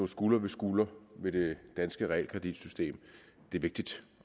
skulder ved skulder med det danske realkreditsystem vigtigt